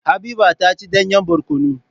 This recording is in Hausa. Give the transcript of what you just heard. Habiba ta ci danyen barkono.